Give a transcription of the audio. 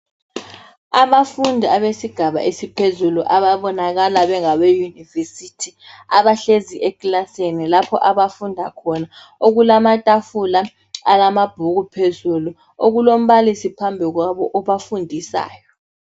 Abafundi abesigaba esiphezulu ababonakala bengabe "University" abahlezi ekilasini lapho abafunda khona, okulamatafula alamabhuku phezulu okulombalisi phambili kwabo obafundisayo.